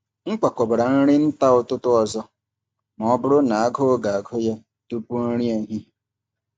M kwakọbara nri nta ụtụtụ ọzọ ma ọ bụrụ na agụụ ga-agụ ya tupu nri ehihie.